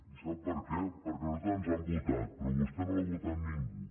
i sap per què perquè a nosaltres ens han votat però a vostè no l’ha votat ningú